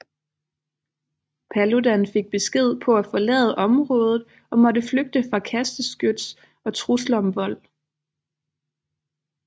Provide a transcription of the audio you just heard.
Paludan fik besked på at forlade området og måtte flygte fra kasteskyts og trusler om vold